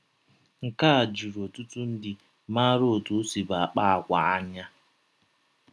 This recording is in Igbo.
Nke a jụrụ ọtụtụ ndị maara ọtụ ọ sibụ akpa àgwà anya.